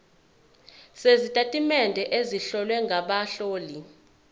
sezitatimende ezihlowe ngabahloli